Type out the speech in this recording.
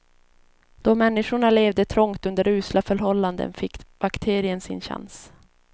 Då människorna levde trångt under usla förhållanden fick bakterien sin chans.